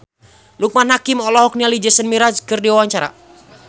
Loekman Hakim olohok ningali Jason Mraz keur diwawancara